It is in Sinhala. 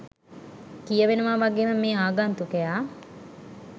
කියවෙනවා වගේම මේ ආගන්තුකයා